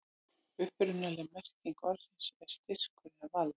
upprunaleg merking orðsins er styrkur eða vald